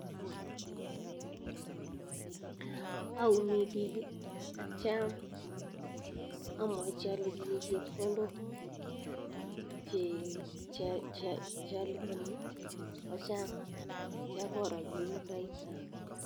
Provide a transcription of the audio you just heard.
Ayumi pik atyam amwachi alechi chepkondok che alipani kochang atya koro kit nekaita.